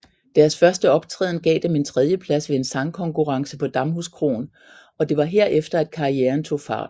Deres første optræden gav dem en tredjeplads ved en sangkonkurrence på Damhuskroen og det var herefter at karrieren tog fart